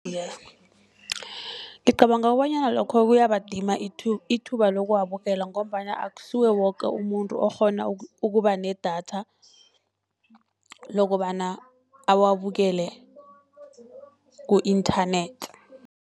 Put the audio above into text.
Ngicabanga kobanyana lokho kuyabadima ithuba lokuwabukela, ngombana akusuye woke umuntu okghona ukuba nedatha lokobana awabukele ku-internet.